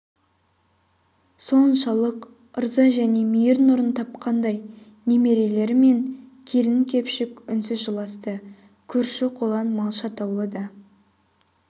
соншалық ырза және мейір нұрын тапқандай немерелері мен келін-кепшік үнсіз жыласты көрші-қолаң малшы атаулы да